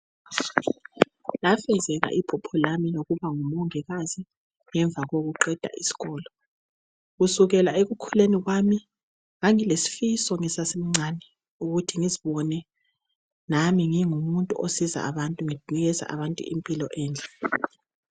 Lafezeka iphupho lami lokuba ngumongikazi ngemva kokuqeda isikolo kusukela ekukhuleni kwami ngangilesifiso ngisasemncane ukuthi ngizibone nami ngingumuntu osiza abantu nginikeza abantu impilo enhle.